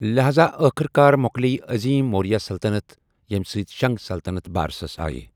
لِحاظا ، ٲخٕرکار مو٘كلییہِ عظیم موریا سلطنت، ییمہِ سۭتۍ شٗنگ سلطنت بارسَس آیہِ ۔